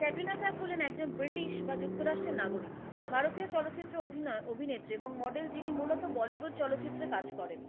ক্যাটরিনা কাইফ হলেন একজন ব্রিটিশ বা যুক্তরাষ্ট্রের নাগরিক, ভারতীয় চলচ্চিত্রের অভিনেত্রী এবং model যিনি মূলত bollywood চলচ্চিত্রে কাজ করেন।